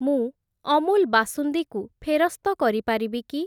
ମୁଁ ଅମୁଲ୍ ବାସୁନ୍ଦୀ କୁ ଫେରସ୍ତ କରି ପାରିବି କି?